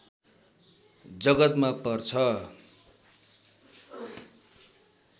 जगतमा पर्छ